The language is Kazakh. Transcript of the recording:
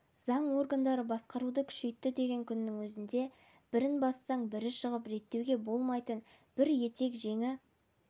заң органдары басқаруды күшейтті деген күннің өзінде бірін бассаң бірі шығып реттеуге болмайтын бір етек-жеңі